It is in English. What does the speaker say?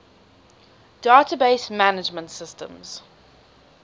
database management systems